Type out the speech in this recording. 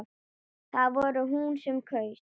Það var hún sem kaus!